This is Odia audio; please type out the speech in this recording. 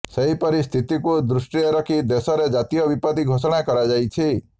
ସେହିପରି ସ୍ଥିତିକୁ ଦୃଷ୍ଟିରେ ରଖି ଦେଶରେ ଜାତୀୟ ବିପତ୍ତି ଘୋଷଣା କରାଯାଇଛି